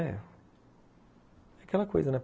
É aquela coisa, né?